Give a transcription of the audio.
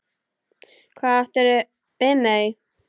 Hvað áttirðu við með því?